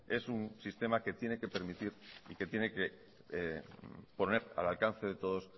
es un sistema que tiene que permitir y que tiene que poner al alcance de todos